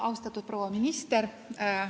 Austatud proua minister!